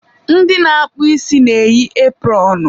Ndị na-akpụ isi na-eyi epụrọnụ.